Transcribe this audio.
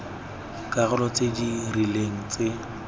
dikarolo tse di rileng tse